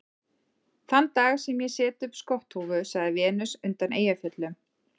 Þann dag sem ég set upp skotthúfu, sagði Venus undan Eyjafjöllum